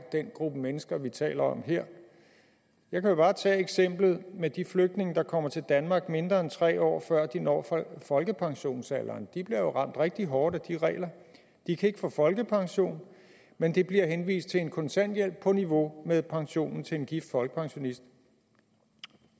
den gruppe mennesker vi taler om her jeg kan jo bare tage eksemplet med de flygtninge der kommer til danmark mindre end tre år før de når folkepensionsalderen de bliver jo ramt rigtig hårdt af de regler de kan ikke få folkepension men de bliver henvist til en kontanthjælp på niveau med pensionen til en gift folkepensionist